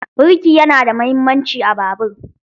Birki yana da muhimmanci a babur.